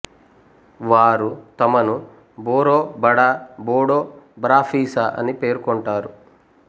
వారు తమను బోరో బడా బోడో బరాఫిసా అని పేర్కొంటారు